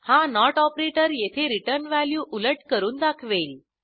हा note operator येथे return value उलट करून दाखवेल